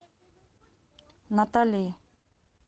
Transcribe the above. натали